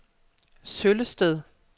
Søllested